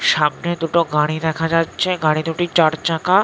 সামনে দুটো গাড়ি দেখা যাচ্ছে। গাড়ি দুটি চার চাকা--